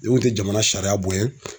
Ni kun tɛ jamana sariya bonya